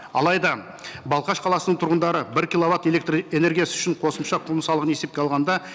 алайда балқаш қаласының тұрғындары бір киловатт электрэнергиясы үшін қосымша құн салығын есепке алғанда